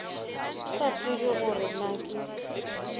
sa tsebe gore na ke